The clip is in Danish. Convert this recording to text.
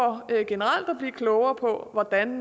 generelt at blive klogere på hvordan